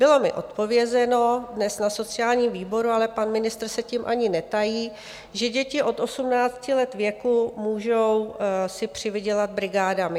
Bylo mi odpovězeno dnes na sociálním výboru, ale pan ministr se tím ani netají, že děti od 18 let věku můžou si přivydělat brigádami.